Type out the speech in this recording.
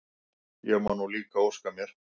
Ég má nú líka óska mér!